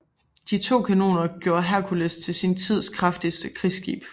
De nye kanoner gjorde Hercules til sin tids kraftigste krigsskib